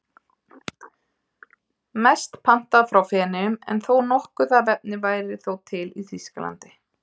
Mest pantað frá Feneyjum en nokkuð af efni væri þó til í Þýskalandi.